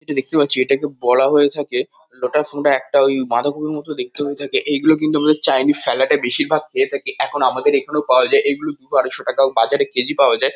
এটি দেখতে পাচ্ছি। এটা একটি বড়া হয়ে থাকে। মোটাসোটা একটা ওই বাঁধাকপির মতো দেখতে হয়ে থাকে। এইগুলো কিন্তু আমরা চাইনিস স্যালাড -এ বেশিরভাগ পেয়ে থাকি। এখন আমাদের এখানেও পাওয়া যায়। এইগুলি দুশো-আড়াইশো টাকায়ও বাজারে কেজি পাওয়া যায়।